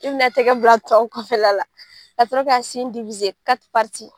I bina a tɛgɛ bila a tɔn kɔfɛla ka sɔrɔ ka sen .